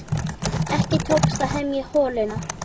Ekki tókst að hemja holuna.